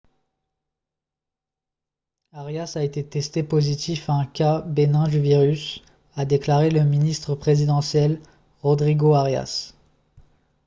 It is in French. arias a été testé positif à un cas bénin du virus a déclaré le ministre présidentiel rodrigo arias